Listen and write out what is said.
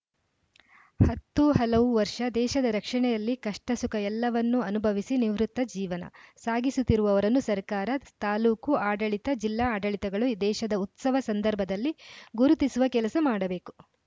ಹತ್ತು ಹಲವು ವರ್ಷ ದೇಶದ ರಕ್ಷಣೆಯಲ್ಲಿ ಕಷ್ಟ ಸುಖ ಎಲ್ಲವನ್ನೂ ಅನುಭವಿಸಿ ನಿವೃತ್ತ ಜೀವನ ಸಾಗಿಸುತ್ತಿರುವವರನ್ನು ಸರ್ಕಾರ ತಾಲೂಕು ಆಡಳಿತ ಜಿಲ್ಲಾ ಆಡಳಿತಗಳು ದೇಶದ ಉತ್ಸವ ಸಂದರ್ಭದಲ್ಲಿ ಗುರುತಿಸುವ ಕೆಲಸ ಮಾಡಬೇಕು